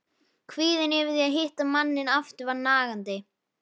Kvíðinn yfir því að hitta manninn aftur var nagandi.